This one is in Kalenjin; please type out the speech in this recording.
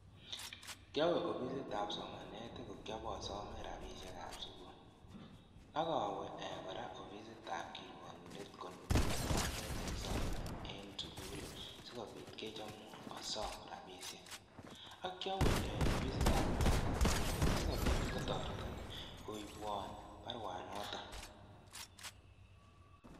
Kyowe ofisitab somanet ko kyop osome rabiishekab sukul, ak awe kora ofisitab kirwokindet konukwon baruet nekisome en sukul sikobiit kechomwon asom rabiishek, ak kyawe ofisitab kiptaiyatab kokwet sikobiit kotoreton koibwon baruanoton.